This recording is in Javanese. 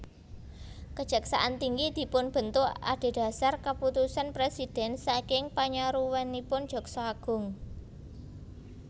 Kejaksaan tinggi dipunbentuk adhedhasar keputusan presiden saking panyaruwenipun Jaksa Agung